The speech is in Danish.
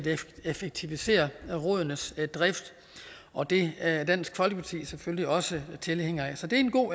effektivisere rådenes drift og det er dansk folkeparti selvfølgelig også tilhænger af så det